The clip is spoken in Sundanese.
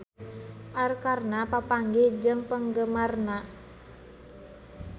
Arkarna papanggih jeung penggemarna